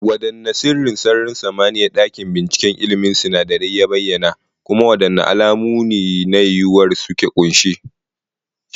Wadanne sirrin sararin samaniya dakin binciken ilmin sinadarai ya bayyana, kuma wadanne alamu ne na yiwuwar su ke kunshe?